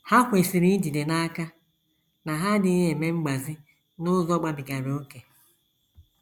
Ha kwesịrị ijide n’aka na ha adịghị eme mgbazi n’ụzọ gabigara ókè.